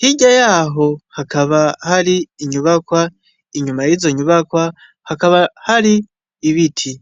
hirya yaho hakaba hari inyubakwa inyuma yizo nyubakwa hakaba hari ibiti.